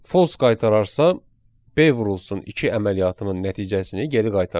False qaytararsa B vurulsun 2 əməliyyatının nəticəsini geri qaytaracaq.